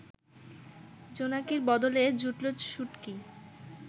জোনাকির বদলে জুটল শুটকি